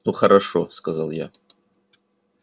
ну хорошо сказал я